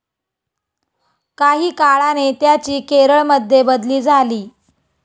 काही काळाने त्याची केरळमध्ये बदली झाली.